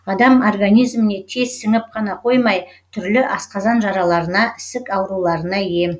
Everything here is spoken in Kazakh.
адам организіміне тез сіңіп қана қоймай түрлі асқазан жараларына ісік ауруларына ем